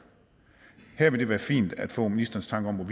her vil det være fint at få ministerens